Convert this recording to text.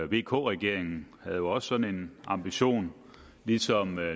vk regeringen havde jo også sådan en ambition ligesom